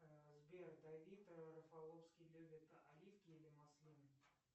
сбер давид рафаловский любит оливки или маслины